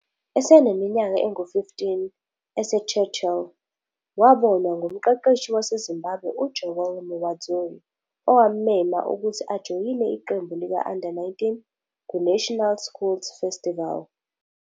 Eseneminyaka engu-15, eseChurchill, wabonwa ngumqeqeshi waseZimbabwe uJoey Muwadzuri owammema ukuthi ajoyine iqembu lika-Under 19 kuNational Schools Festival.